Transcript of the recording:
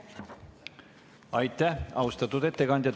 Aitäh, austatud ettekandja!